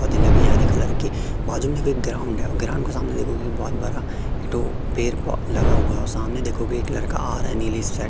अथीलड़ियां आधे कलर के बाजू में कोई ग्राउंड है ग्राउंड के सामने देखोगे बहोत बड़ा दो पेड़ लगा हुआ सामने देखोगे एक लड़का आ रहा है नीले से शर्ट --